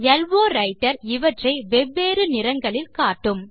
low writer இவற்றை வெவ்வேறு நிறங்களில் காட்டும்